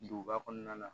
Duguba kɔnɔna la